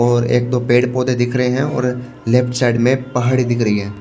और एक दो पेड़ पौधे दिख रहे हैं और लेफ्ट साइड में पहाड़ी दिख रही है।